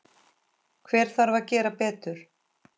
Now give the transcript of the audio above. Hver þarf að gera betur?